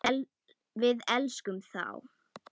Við elskum þá.